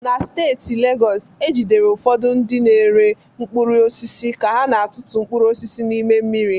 Na steeti Legọs, e jidere ụfọdụ ndị na-ere mkpụrụ osisi ka ha na-atụtụ mkpụrụ osisi n'ime mmiri.